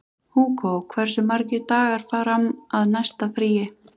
Húgó, hversu margir dagar fram að næsta fríi?